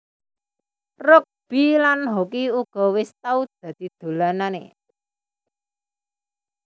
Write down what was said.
Rugbi lan hoki uga wis tau dadi dolananè